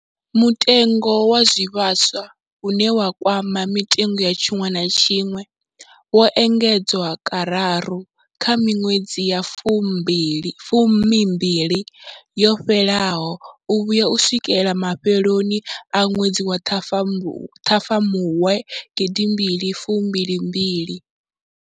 Mutengo wa zwivhaswa, une wa kwama mitengo ya tshiṅwe na tshiṅwe, wo engedzwa kararu kha miṅwedzi ya fumimbili yo fhelaho u vhuya u swikela mafheloni a ṅwedzi wa Ṱhafamuhwe 2022.